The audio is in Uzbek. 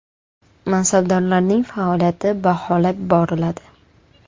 Mansabdorlarning faoliyati baholab boriladi.